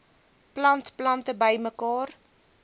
plant plante bymekaar